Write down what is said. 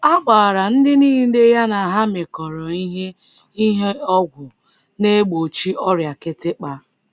A gbara ndị nile ya na ha mekọrọ ihe ihe ọgwụ na - egbochi ọrịa kịtịkpa.